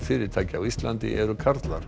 fyrirtækja á Íslandi eru karlar